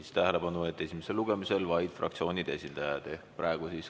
Juhin tähelepanu, et esimesel lugemisel vaid fraktsioonide esindajad.